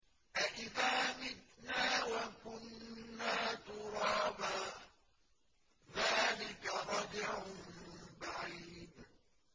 أَإِذَا مِتْنَا وَكُنَّا تُرَابًا ۖ ذَٰلِكَ رَجْعٌ بَعِيدٌ